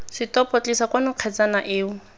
setopo tlisa kwano kgetsana eo